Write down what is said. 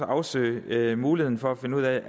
at afsøge muligheden for at finde ud af